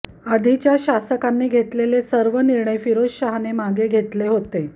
आधीच्या शासकांनी घेतलेले सर्व निर्णय फिरोजशाहने मागे घेतले होते